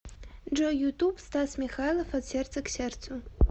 джой ютуб стас михайлов от сердца к сердцу